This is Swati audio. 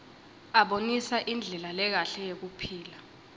abonisa indlela lekahle yekuphila